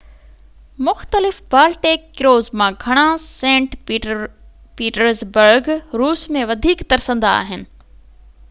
مختلف Baltic cruise مان گهڻا سينٽ پيٽرزبرگ روس ۾ وڌيڪ ترسندا آهن